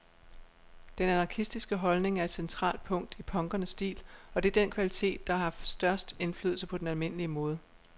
Den anarkistiske holdning er et centralt punkt i punkernes stil, og det er den kvalitet, der har haft størst indflydelse på den almindelige mode.